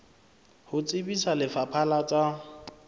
ho tsebisa lefapha la tsa